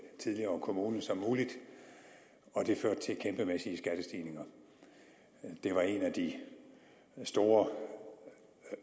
tidligere kommune som muligt og det førte til kæmpemæssige skattestigninger det var en af de store